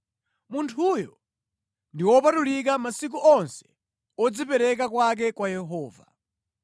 Munthuyo ndi wopatulika masiku onse odzipereka kwake kwa Yehova.